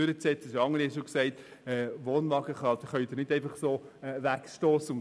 Es haben bereits andere darauf hingewiesen, dass man die Wohnwagen nicht einfach so wegstossen kann.